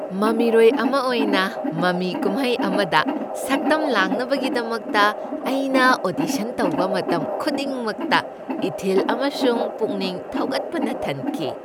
ꯃꯃꯤꯔꯣꯏ ꯑꯃ ꯑꯣꯏꯅ, ꯃꯃꯤ ꯀꯨꯝꯍꯩ ꯑꯃꯗ ꯁꯛꯇꯝ ꯂꯥꯡꯅꯕꯒꯤꯗꯃꯛꯇ ꯑꯩꯅ ꯑꯣꯗꯤꯁꯟ ꯇꯧꯕ ꯃꯇꯝ ꯈꯨꯗꯤꯡꯃꯛꯇ ꯏꯊꯤꯜ ꯑꯃꯁꯨꯡ ꯄꯨꯛꯅꯤꯡ ꯊꯧꯒꯠꯄꯅ ꯊꯟꯈꯤ ꯫